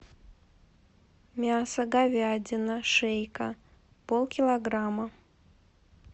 мясо говядина шейка полкилограмма